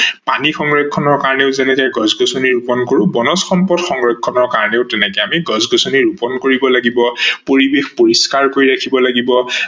পানী সংৰক্ষনৰ কাৰনে যেনেকে গছ-গছনি ৰুপন কৰো বনজ সম্পদ সংৰক্ষনৰ কাৰনেও তেনেকে গছ-গছনি ৰুপন কৰিব লাগিব, পৰিবেশ পৰিস্কাৰ কৰি ৰাখিব লাগিব।